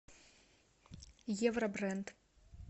евробренд